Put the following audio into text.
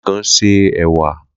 Lekan se èwà.